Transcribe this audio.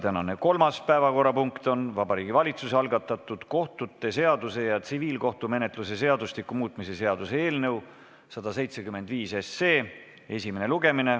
Tänane kolmas päevakorrapunkt on Vabariigi Valitsuse algatatud kohtute seaduse ja tsiviilkohtumenetluse seadustiku muutmise seaduse eelnõu 175 esimene lugemine.